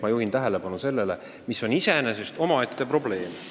Ma juhin tähelepanu ühele omaette probleemile.